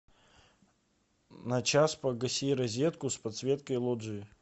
на час погаси розетку с подсветкой лоджии